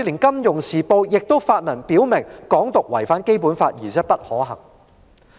《金融時報》也曾發文表明，"港獨"違反《基本法》而且不可行。